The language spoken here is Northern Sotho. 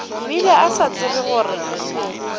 bile a sa tsebe gore